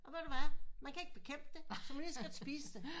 Og ved du hvad man kan ikke bekæmpe det så kan man lige så godt spise det